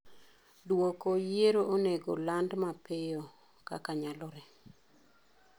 Duoko yiero onego oland mapiyo kaka nyalore.